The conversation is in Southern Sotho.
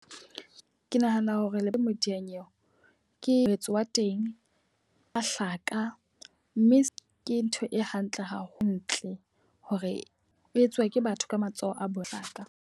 Ke nahana hore le be modiyanyewe. Ke etse wa teng mahlaka. Mme ke ntho e hantle hore e etsuwa ke batho ka matsoho a mahlaka.